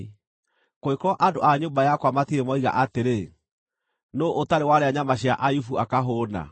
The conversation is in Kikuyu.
kũngĩkorwo andũ a nyũmba yakwa matirĩ moiga atĩrĩ, ‘Nũũ ũtarĩ warĩa nyama cia Ayubu akahũũna?’